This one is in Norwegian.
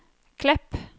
Klepp